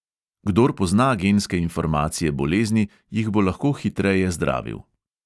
Kdor pozna genske informacije bolezni, jih bo lahko hitreje zdravil.